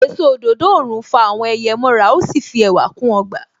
Èso òdòdó òrùn fa àwọn ẹyẹ mọ ra. Ó sì fi ẹwà kún ọgbà.